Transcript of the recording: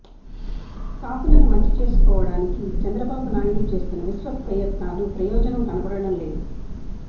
కాపులను మంచి చేసుకోవడానికి చంద్రబాబునాయుడు చేస్తున్న విశ్వప్రయత్నాలు ప్రయోజనం కనపడటం లేదు